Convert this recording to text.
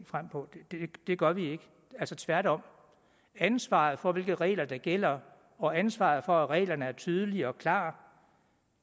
frem på det gør vi ikke altså tværtom ansvaret for hvilke regler der gælder og ansvaret for at reglerne er tydelige og klare